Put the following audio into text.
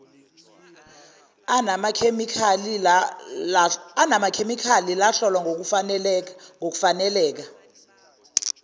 anamakhemikhali lahlolwa ngokufaneleka